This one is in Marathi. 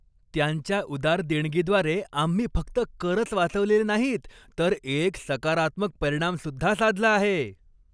त्यांच्या उदार देणगीद्वारे आम्ही फक्त करच वाचवलेले नाहीत, तर एक सकारात्मक परिणामसुद्धा साधला आहे!